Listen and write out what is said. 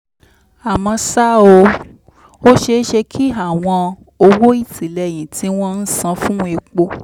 àmọ́ ṣá o ó ṣeé ṣe kí àwọn owó ìtìlẹ́yìn tí wọ́n ń san fún epo